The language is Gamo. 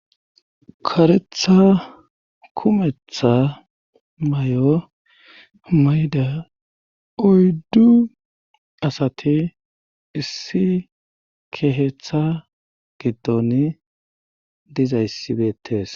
Kareththa kumeththa may'o may'ida oyddu asati issi keeththa giddon dizayssi beettes